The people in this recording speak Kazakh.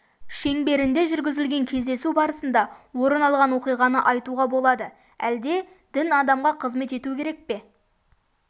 шеңберінде жүргізілген кездесу барысында орын алған оқиғаны айтуға болады әлде дін адамға қызмет ету керек пе